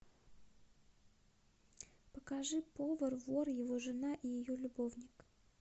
покажи повар вор его жена и ее любовник